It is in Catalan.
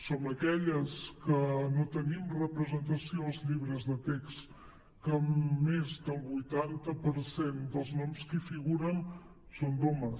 som aquelles que no tenim representació als llibres de text que més del vuitanta per cent dels noms que hi figuren són d’homes